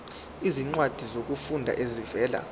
izincwadi zokufunda ezivela